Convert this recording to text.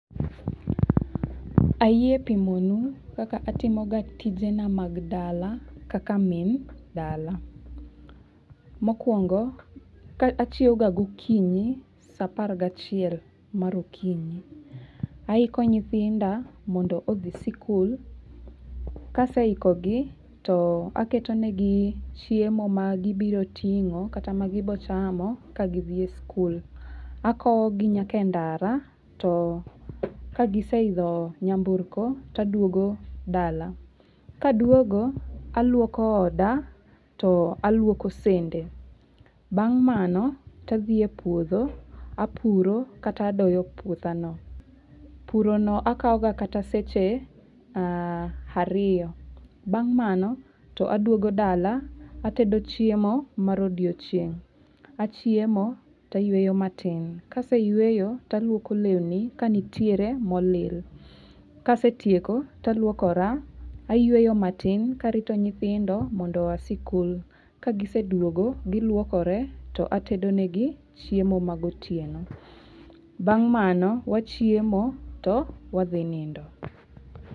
Ayie pimo nu kaka atimo ga tije na mag dala kaka min dala. Mokuongo, ka achiew ga gokinyi sa apar gi achiel mar okinyi. Aiko nyithinda mondo odhi sikul. Kaseiko gi to aketo negi chiemo ma gibiro ting'o kata ma gibo chamo ka gidhie sikul. Akowo gi nyaka e ndara, to ka giseidho nyamburko taduogo dala. Kaduogo, aluoko oda to aluoko sende. Bang' mano tadhi e puodho apuro, kata adoyo puotha no. Puro no akao ga kata seche ariyo. Bang' mano, to aduogo dala, atedo chiemo mar odiochieng'. Achiemo, tayueyo matin. Kaseyueyo, taluoko lewni ka nitiere molil. Kasetieko, taluokora, ayueyo matin karito nyithindo mondo oa sikul. Kagiseduogo, giluokore to atedo ne gi chiemo ma gotieno. Bang' mano, wachiemo to wadhi nindo.